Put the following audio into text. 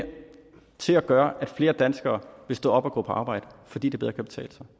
til at gøre at flere danskere vil stå op og gå på arbejde fordi det bedre kan betale sig